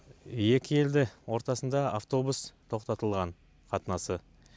екі елде ортасында автобус тоқтатылған қатынасы